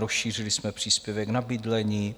Rozšířili jsme příspěvek na bydlení.